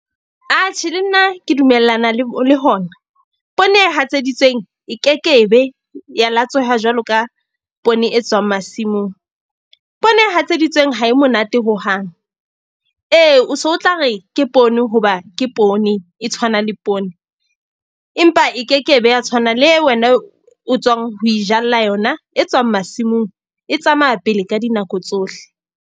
Atjhe le nna ke dumellana le le hona. Poone e hatseditsweng e ke ke be ya latsweha jwalo ka poone e tswang masimong. Poone e hatseditsweng ha e monate hohang. Ee, o so o tla re ke poone hoba ke poone e tshwana le poone, empa e ke ke be ya tshwana le eo wena o tswang ho ijalla yona e tswang masimong. E tsamaya pele ka dinako tsohle.